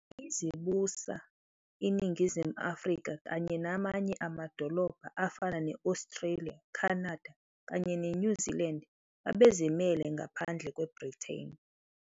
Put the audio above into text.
Yize yayizibusa, iNingizimu Afrika, kanye namanye amaDolobha afana ne-Australia, Canada kanye neNew Zealand, babezimele ngaphandle kweBrithani.